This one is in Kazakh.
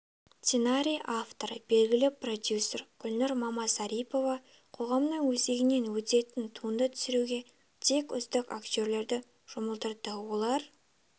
сценарий авторы белгілі продюсер гүлнұр мамасарипова қоғамның өзегінен өтетін туынды түсіруге тек үздік актерлерді жұмылдырды олар